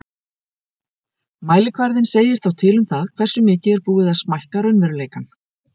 Mælikvarðinn segir þá til um það hversu mikið er búið að smækka raunveruleikann.